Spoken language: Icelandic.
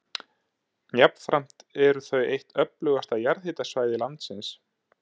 Jafnframt eru þau eitt öflugasta jarðhitasvæði landsins.